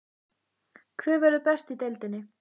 Hver verður best í deildinni?